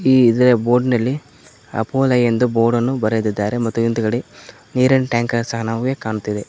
ಈ ಇದರ ಬೋರ್ಡ್ ನಲ್ಲಿ ಅಪ್ಪೋಲೋ ಎಂದು ಬೋರ್ಡ್ ಅನ್ನು ಬರೆದಿದ್ದಾರೆ ಮತ್ತು ಹಿಂದುಗಡೆ ನೀರಿನ್ ಟ್ಯಾಂಕರ್ ಸಹ ನಮಗೆ ಕಾಣ್ತಿದೆ.